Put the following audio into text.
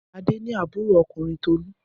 Adé ni àbúrò ọkùnrin Tolú.